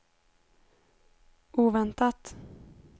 oväntat